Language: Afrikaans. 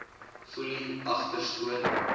foelie agter skoon